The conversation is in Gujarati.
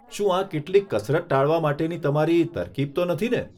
શું આ કેટલીક કસરત ટાળવા માટેની તમારી તરકીબ તો નથીને?